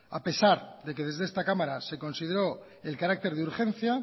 a pesar de que desde esta cámara se consideró el carácter de urgencia